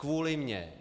Kvůli mně.